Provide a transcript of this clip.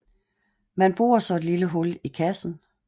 Man borer så et lille hul i kassen